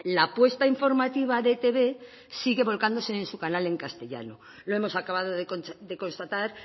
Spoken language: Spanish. la apuesta informativa de etb sigue volcándose en su canal en castellano lo hemos acabado de constatar